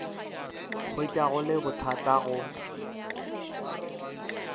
hwetša go le bothata go